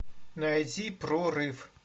найти прорыв